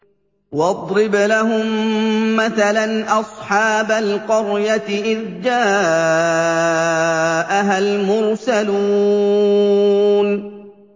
وَاضْرِبْ لَهُم مَّثَلًا أَصْحَابَ الْقَرْيَةِ إِذْ جَاءَهَا الْمُرْسَلُونَ